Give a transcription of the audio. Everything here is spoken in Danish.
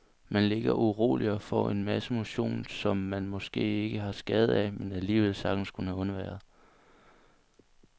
Man ligger uroligt og får en masse motion, som man måske ikke har skade af, men alligevel sagtens kunne have undværet.